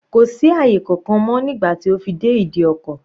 Kò sí àyè kankan mọ́ nígbà tí ó fi dé ìdí ọkọ̀.